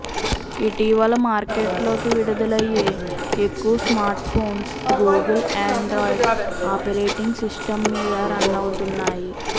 ఇటీవల మార్కెట్లోకి విడుదలయ్యే ఎక్కు smartphones Google Android operating system మీద రన్ అవుతున్నాయి